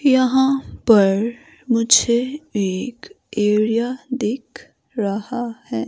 यहां पर मुझे एक एरिया दिख रहा है।